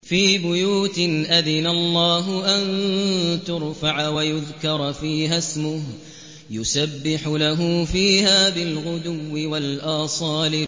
فِي بُيُوتٍ أَذِنَ اللَّهُ أَن تُرْفَعَ وَيُذْكَرَ فِيهَا اسْمُهُ يُسَبِّحُ لَهُ فِيهَا بِالْغُدُوِّ وَالْآصَالِ